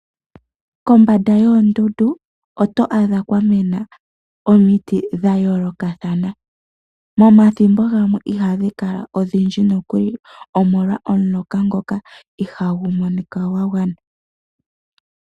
Kombanda yoondundu oto adha kwamena omiti dhayoloka thana, momathimbo gamwe ihadhi kala odhindji nokuli omolwa omuloka goka ihangumonika ngwangwana.